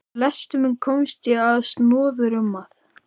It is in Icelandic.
Við lestur minn komst ég á snoðir um að